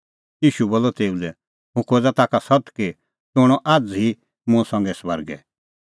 ईशू बोलअ तेऊ लै हुंह खोज़ा ताखा सत्त कि तूह हणअ आझ़ ई मुंह संघै स्वर्गे